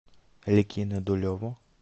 ликино дулево